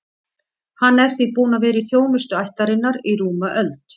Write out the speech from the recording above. Hann er því búinn að vera í þjónustu ættarinnar í rúma öld.